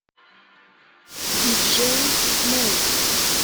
диджей смеш